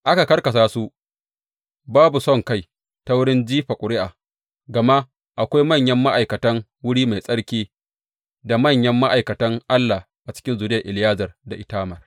Aka karkasa su babu sonkai ta wurin jifa ƙuri’a, gama akwai manyan ma’aikatan wuri mai tsarki da manyan ma’aikatan Allah a cikin zuriyar Eleyazar da Itamar.